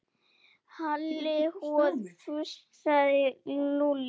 Halli hor fussaði Lúlli.